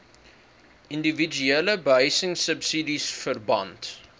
indiwiduele behuisingsubsidies verband